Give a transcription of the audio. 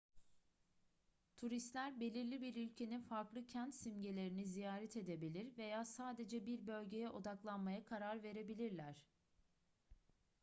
turistler belirli bir ülkenin farklı kent simgelerini ziyaret edebilir veya sadece bir bölgeye odaklanmaya karar verebilirler